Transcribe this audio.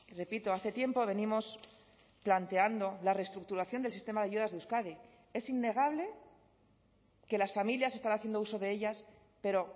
repito hace tiempo venimos planteando la reestructuración del sistema de ayudas de euskadi es innegable que las familias están haciendo uso de ellas pero